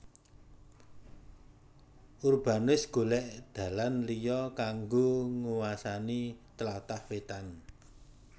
Urbanus golek dalan liya kanggo nguwasani tlatah wetan